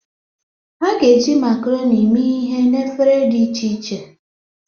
A ga-eji macaroni mee ihe na efere dị iche iche.